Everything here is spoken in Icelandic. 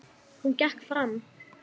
Hún gekk fram.